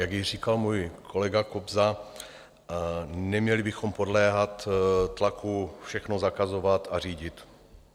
Jak již říkal můj kolega Kobza, neměli bychom podléhat tlaku všechno zakazovat a řídit.